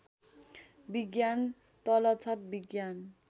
विज्ञान तलछट विज्ञान